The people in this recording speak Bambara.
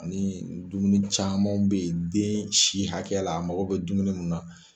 Ani dumuni camanw bɛ yen den si bɛ hakɛya la mago bɛ dumuni mun na.